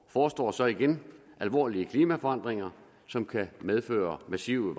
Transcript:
forestår så igen alvorlige klimaforandringer som kan medføre massive